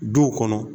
Duw kɔnɔ